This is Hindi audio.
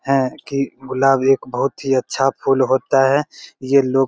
हैं की गुलाब एक बहुत ही अच्छा फूल होता है ये लोग --